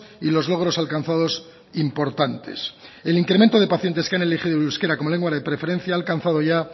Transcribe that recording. y los logros alcanzados importantes el incremento de pacientes que han elegido el euskera como lengua de preferencia ha alcanzado ya